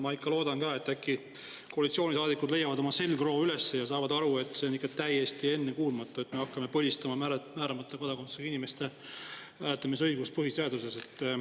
Ma ikka loodan ka, et äkki koalitsioonisaadikud leiavad oma selgroo üles ja saavad aru, et see on ikka täiesti ennekuulmatu, et me hakkame põlistama määramata kodakondsusega inimeste hääletamisõigust põhiseaduses.